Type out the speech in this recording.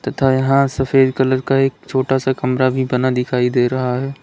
तथा यहां सफेद कलर का एक छोटा सा कमरा भी बना दिखाई दे रहा है।